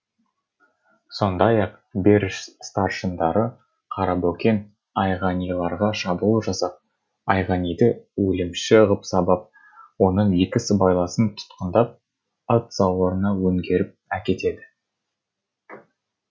сондай ақ беріш старшындары қарабөкен айғаниларға шабуыл жасап айғаниді өлімші ғып сабап оның екі сыбайласын тұтқындап ат сауырына өңгеріп әкетеді